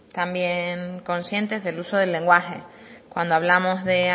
también conscientes del uso del lenguaje cuando hablamos de